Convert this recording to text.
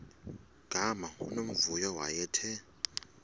gama unomvuyo wayethe